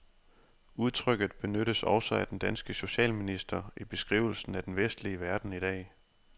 Udtrykket benyttes også af den danske socialminister i beskrivelsen af den vestlige verden i dag.